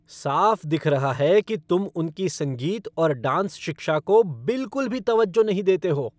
साफ दिख रहा है कि तुम उनकी संगीत और डांस शिक्षा को बिल्कुल भी तवज्जो नहीं देते हो।